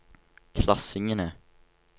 klassingene